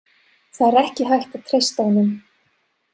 Það er ekki hægt að treysta honum.